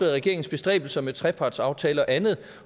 regeringens bestræbelser med trepartsaftale og andet